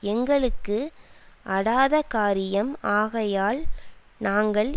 எங்களுக்கு அடாதகாரியம் ஆகையால் நாங்கள்